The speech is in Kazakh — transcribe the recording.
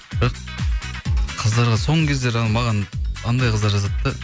бірақ қыздарға соңғы кездері маған анандай қыздар жазады да